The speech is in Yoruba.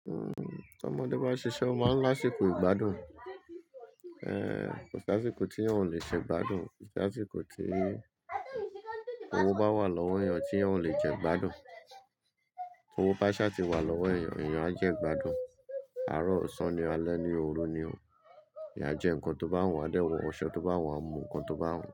Hmm, to ọmọdé bá ṣiṣẹ́, ó máa ń láṣeko ìgbádùn. Ehn, kò sí àsìkò tí èèyàn ò le ṣe ìgbádùn, kò sí àsìkò tí owó bá wà lọ́wọ́ èèyàn tí èèyàn ò le jẹ ìgbádùn. Towó bá ṣá ti wà lọ́wọ́ èèyàn, èèyàn á jẹ ìgbádùn. Àárọ̀, ọ̀sán ni, alẹ́ ni, òru ni, eeyán ajẹ nǹkan tó bá wù, a dé wọ oṣọ tó bá wù, a mu nǹkan tó bá wù.